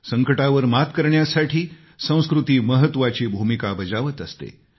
संकटावर मात करण्यासाठी संस्कृती महत्वाची भूमिका बजावत असते